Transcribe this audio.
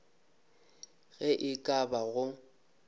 ge e ka ba go